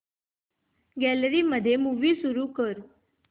gallery मध्ये movie सुरू कर